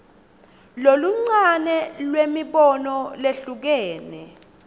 loluncane lwemibono lehlukene